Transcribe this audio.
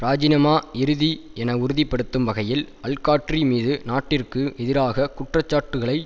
இராஜினமா இறுதி என உறுதி படுத்தும் வகையில் அல்காட்டிரி மீது நாட்டிற்கு எதிராக குற்ற சாட்டுகளை